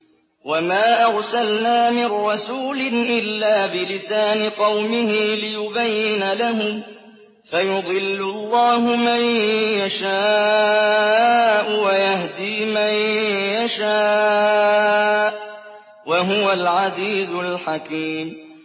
وَمَا أَرْسَلْنَا مِن رَّسُولٍ إِلَّا بِلِسَانِ قَوْمِهِ لِيُبَيِّنَ لَهُمْ ۖ فَيُضِلُّ اللَّهُ مَن يَشَاءُ وَيَهْدِي مَن يَشَاءُ ۚ وَهُوَ الْعَزِيزُ الْحَكِيمُ